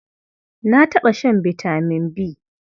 Na taɓa shan vitamin B.